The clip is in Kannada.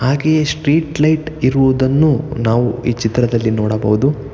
ಹಾಗೆ ಸ್ಟ್ರೀಟ್ ಲೈಟ್ ಇರುವುದನ್ನು ನಾವು ಈ ಚಿತ್ರದಲ್ಲಿ ನೋಡಬಹುದು.